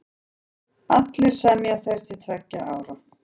Allir semja þeir til tveggja ára.